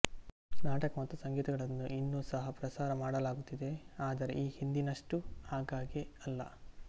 ನಾಟಕ ಮತ್ತು ಸಂಗೀತಗಳನ್ನು ಇನ್ನೂ ಸಹ ಪ್ರಸಾರ ಮಾಡಲಾಗುತ್ತಿದೆ ಆದರೆ ಈ ಹಿಂದಿನಷ್ಟು ಆಗಾಗ್ಗೆ ಅಲ್ಲ